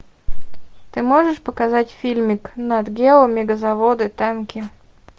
ты можешь показать фильмик нат гео мегазаводы танки